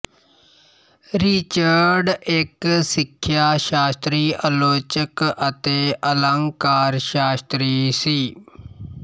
Richard ਇਕ ਸਿੱਖਿਆ ਸ਼ਾਸਤਰੀ ਆਲੋਚਕ ਅਤੇ ਅਲੰਕਾਰ ਸ਼ਾਸਤਰੀ ਸੀ